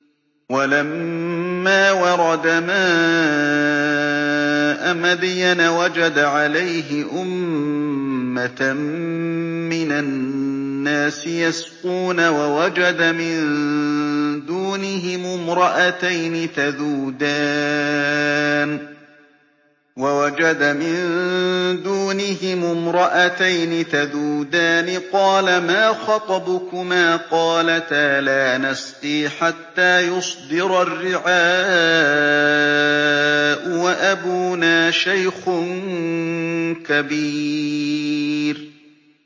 وَلَمَّا وَرَدَ مَاءَ مَدْيَنَ وَجَدَ عَلَيْهِ أُمَّةً مِّنَ النَّاسِ يَسْقُونَ وَوَجَدَ مِن دُونِهِمُ امْرَأَتَيْنِ تَذُودَانِ ۖ قَالَ مَا خَطْبُكُمَا ۖ قَالَتَا لَا نَسْقِي حَتَّىٰ يُصْدِرَ الرِّعَاءُ ۖ وَأَبُونَا شَيْخٌ كَبِيرٌ